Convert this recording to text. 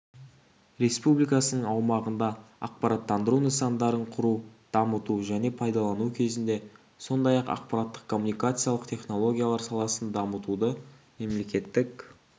республикасының аумағында ақпараттандыру нысандарын құру дамыту және пайдалану кезінде сондай-ақ ақпараттық-коммуникациялық технологиялар саласын дамытуды мемлекеттік